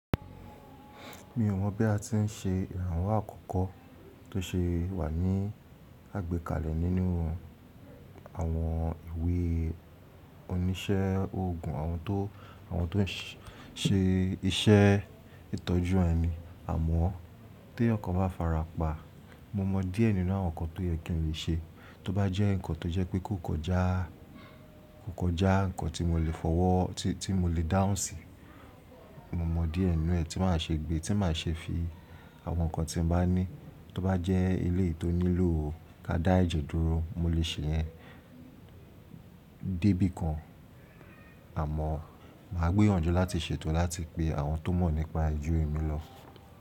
Mi ò mọ̀ bí a ti ń ṣe ìrànwọ́ akọkọ tó ṣe wà ní àgbékalẹ̀ nínú àwọn ìwé oníṣẹ́ ogun, àwọn tó ń ṣe iṣẹ́ ìtọ́jú ẹni. Àmọ́, tí èèyàn kan bá fara pa, mo mọ díẹ̀ nínú àwọn nǹkan tó yẹ kí n le ṣe. Tó bá jẹ́ ǹkan tó jẹ́ pé kò kọjá ǹkan tí mo lè fọwọ́, tí mo lè dáhùn síi, mo mọ díẹ̀ nínú ẹ́ tí màá ṣe gbé, tí màá ṣe fi àwọn ǹkan tí mo bá ní. Tó bá jẹ́ ilé tó nílò ká dá ẹ̀jẹ̀ dúró, mo lè ṣe ìyẹn dé bí kan. Àmọ́, màá gbìyànjú láti ṣètò láti pe àwọn tó mọ̀ nípa ẹ ju èmi lọ.